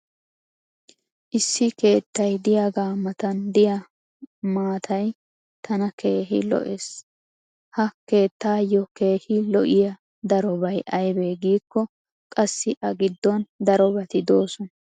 issi keettay diyaagaa matan diya maattay tana keehi lo'ees. ha keettaayo keehi lo'iya darobay aybee giikko qassi a giddon darobati doosona.